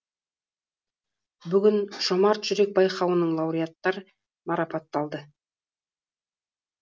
бүгін жомарт жүрек байқауының лауреаттар марапатталды